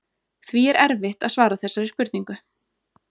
Því er erfitt að svara þessari spurningu.